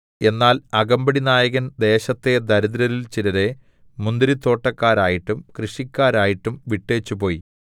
എന്നാൽ അകമ്പടിനായകൻ ദേശത്തെ ദരിദ്രരിൽ ചിലരെ മുന്തിരിത്തോട്ടക്കാരായിട്ടും കൃഷിക്കാരായിട്ടും വിട്ടേച്ചു പോയി